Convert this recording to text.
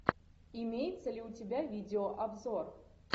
имеется ли у тебя видеообзор